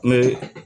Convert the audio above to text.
Mɛ